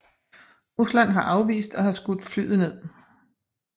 Rusland har afvist at have skudt flyet ned